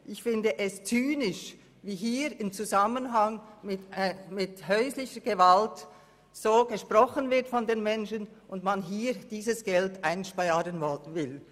Ich finde es zynisch, wie hier über häusliche Gewalt gesprochen wird, von den betroffenen Menschen, und dass man dieses Geld hier einsparen will.